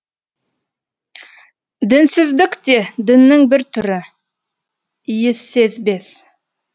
дінсіздік те діннің бір түрі иіссезбес